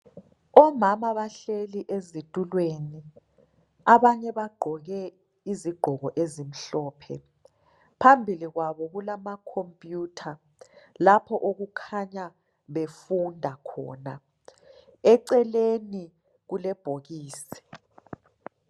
Omama bahleli ezitulweni abanye bagqoke izigqoko ezimhlophe phambili kwabo kulamacomputer lapho okukhanya befunda khona eceleni kulebhokisi .